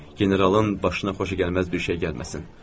Generalın başına xoşagəlməz bir şey gəlməsin.